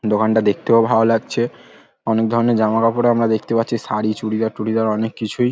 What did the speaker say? দোকানটা দেখতেও ভালো লাগছে অনেক ধরনের জামাকাপড়ও আমরা দেখতে পাচ্ছি শাড়ী চুড়িদার টুড়িদার অনেক কিছুই।